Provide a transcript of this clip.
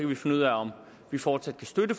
vi finde ud af om vi fortsat kan støtte